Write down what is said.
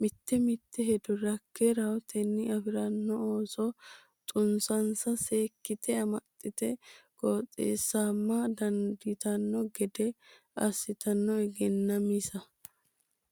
mite mite hedo rakke rahotenni affaranno ooso xunsonsa seekkite amaxxite qoxxisama dandiitanno gede assate Egennaa misa.